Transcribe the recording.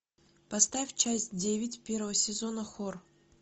поставь часть девять первого сезона хор